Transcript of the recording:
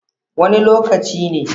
Wani lokaci ne?